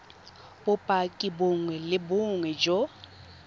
bopaki bongwe le bongwe jo